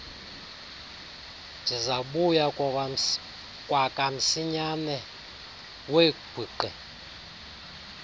ndizakubuya kwakamsinyane wegwiqi